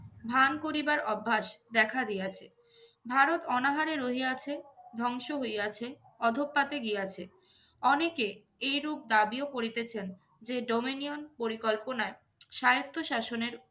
ভান করিবার অভ্যাস দেখা দিয়াছে। ভারত অনাহারে রহিয়াছে, ধ্বংস হইয়াছে, অধঃপাতে গিয়াছে। অনেকে এরূপ দাবিও করিতেছেন যে dominion পরিকল্পনায় স্বায়ত্ত শাসনের